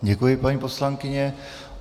Děkuji, paní poslankyně.